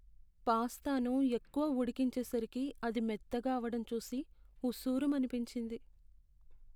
పాస్తాను ఎక్కువ ఉడికించేసరికి అది మెత్తగా అవడం చూసి ఉస్సూరుమనిపించింది.